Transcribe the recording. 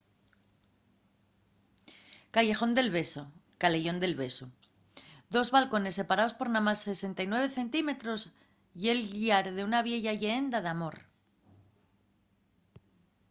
callejon del beso caleyón del besu. dos balcones separaos por namás 69 centímetros ye’l llar d’una vieya lleenda d’amor